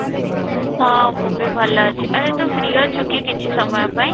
ହଁ, ମୁଁ ବି ଭଲ ଅଛି, ଆରେ ତୁ free ଅଛୁ କି କିଛି ସମୟ ପାଇଁ?